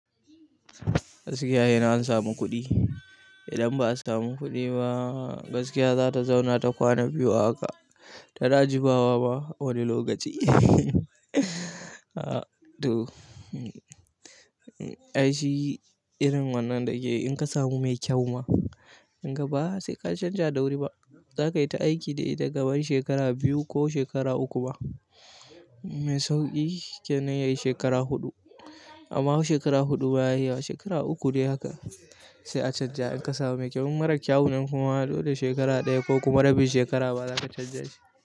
Gaskiya yana an samu kuɗi. Idan ba a samu kuɗi ba, gaskiya za ta zauna ta kwana biyu a haka. Ta na jimawa ma wani lokaci. To, ai shi irin wannan dake in ka samu mai kyau ma, in ka ba sai ka canja dauri ba. Za ka yi ta aiki da ita kaman shekara biyu ko shekara uku ba. Mai sauƙi kenan yayi shekara huɗu. Amma shekara huɗu baya yi ba, shekara uku dai haka sai a canja. In ka samu mai kyau, in mara kyau ne kuma dole shekara ɗaya ko kuma rabi shekara ba za ka canja shi.